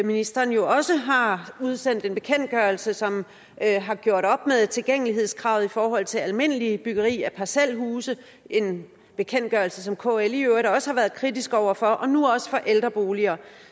ministeren jo også har udsendt en bekendtgørelse som har gjort op med tilgængelighedskravet i forhold til almindeligt byggeri af parcelhuse en bekendtgørelse som kl i øvrigt også har været kritisk over for og nu også ældreboliger